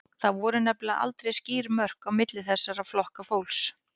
Það voru nefnilega aldrei skýr mörk á milli þessara flokka fólks.